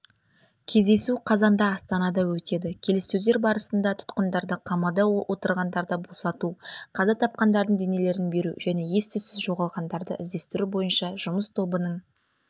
кездесу қазанда астанада өтеді келіссөздер барысында тұтқындарды қамауда отырғандарды босату қаза тапқандардың денелерін беру және ес-түзсіз жоғалғандарды іздестіру бойынша жұмыс тобының